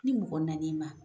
Ni mɔgɔ nan'i ma